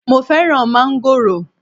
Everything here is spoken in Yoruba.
Mo fẹ́ràn mángòrò